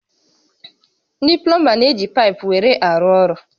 Ndị plọmba n'eji paịpụ were arụ ọrụ